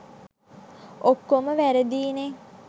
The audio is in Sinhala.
ඔක්කොම වැරදියිනේ.